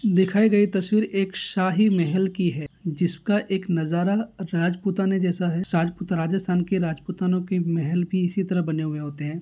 दिखाई गई तस्वीर एक शाही महल की है जिसका एक नजारा राजपुताने जैसा है राजपुत राजस्थान के राज पुतानो के महल भी इसी तरह बने हुये होते है।